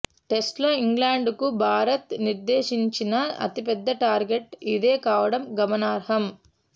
టెస్టుల్లో ఇంగ్లాండ్కు భారత్ నిర్దేశించిన అతిపెద్ద టార్గెట్ ఇదే కావడం గమనార్హం